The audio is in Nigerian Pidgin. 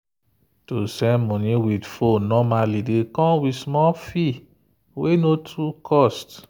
to send money with phone normally dey come with small fee wey no too cost.